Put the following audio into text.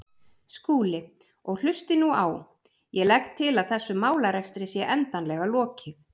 Skúli, og hlustið nú á: Ég legg til að þessum málarekstri sé endanlega lokið.